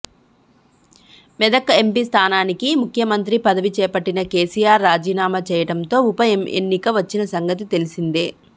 Medak MP స్థానానికి ముఖ్యమంత్రి పదవి చేపట్టిన కేసీఆర్ రాజీనామా చేయడంతో ఉప ఎన్నిక వచ్చిన సంగతి తెలిసిందే